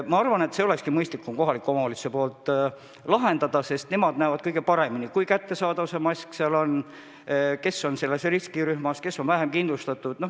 Ma arvan, et olekski mõistlik, kui kohalikud omavalitsused need probleemid lahendavad, sest nemad näevad kõige paremini, kui kättesaadavad on maskid riskirühmades, kes on vähem kindlustatud.